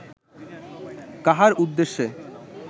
কাহার উদ্দেশ্যে